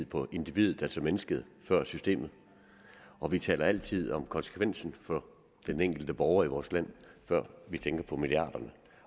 på individet altså mennesket før systemet og vi taler altid om konsekvensen for den enkelte borger i vores land før vi tænker på milliarderne